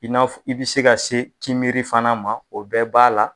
I n'a i bɛ se ka se kinbiri fana ma o bɛɛ b'a la.